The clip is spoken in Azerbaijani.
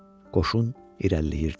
Qoşun irəliləyirdi.